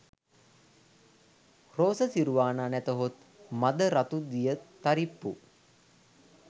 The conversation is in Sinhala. රෝස තිරුවානා නැතහොත් මද රතු දියතරිප්පු